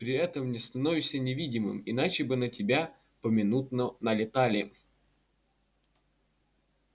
при этом не становишься невидимым иначе бы на тебя поминутно налетали